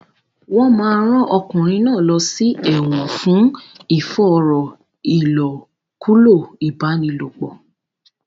Wọn máa rán ọkùnrin náà lọ sí ẹ̀wọ̀n fún ìfòòró ìlòkulò ìbálòpọ̀.